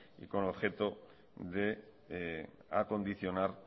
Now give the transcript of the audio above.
con objeto de acondicionar